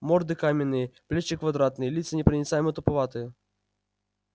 морды каменные плечи квадратные лица непроницаемо-туповатые